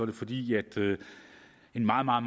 det fordi en meget meget